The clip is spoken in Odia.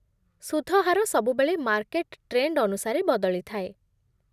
ସୁଧ ହାର ସବୁବେଳେ ମାର୍କେଟ୍ ଟ୍ରେଣ୍ଡ ଅନୁସାରେ ବଦଳିଥାଏ